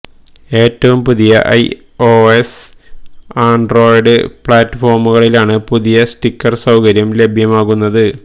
ഏറ്റവും പുതിയ iOS Android പ്ലാറ്റ്ഫോമുകളിലാണ് പുതിയ സ്റ്റിക്കര് സൌകര്യം ലഭ്യമാകുന്നത്